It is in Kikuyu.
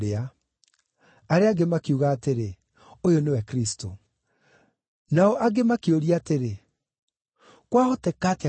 Arĩa angĩ makiuga atĩrĩ, “Ũyũ nĩwe Kristũ.” Nao angĩ makĩũria atĩrĩ, “Kwahoteka atĩa Kristũ oime Galili?